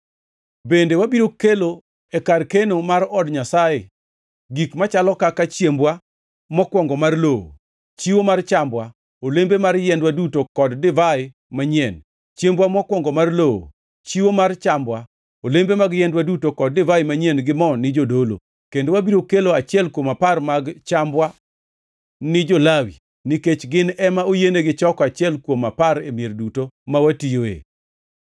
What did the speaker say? “Bende wabiro kelo e kar keno mar od Nyasaye gik machalo kaka; chiembwa mokwongo mar lowo, chiwo mar chambwa, olembe mar yiendwa duto kod divai manyien; chiembwa mokwongo mar lowo, chiwo mar chambwa, olembe mag yiendwa duto kod divai manyien gi mo ni jodolo. Kendo wabiro kelo achiel kuom apar mag chambwa ni jo-Lawi, nikech gin ema oyienigi choko achiel kuom apar e mier duto ma watiyoe.